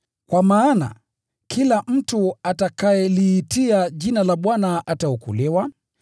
Kwa maana, “Kila mtu atakayeliitia Jina la Bwana, ataokolewa.”